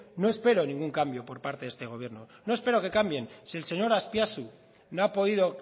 no espero ningún cambio por parte de este gobierno no espero que cambien si el señor azpiazu no ha podido